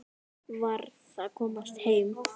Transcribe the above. Varð að komast heim.